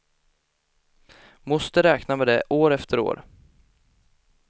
Moster räknar med det år efter år.